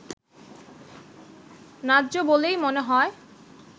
ন্যায্য বলেই মনে হয়